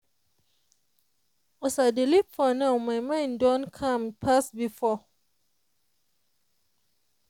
as i dey live for now my mind don calm pass before.